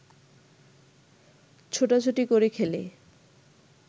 ছোটাছুটি করে খেলে